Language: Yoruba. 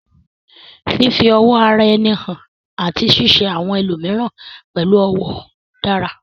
Fífi ọ̀wọ̀ ara ẹni hàn àti ṣíṣe àwọn ẹlòmíràn pẹ̀lú ọ̀wọ̀ dára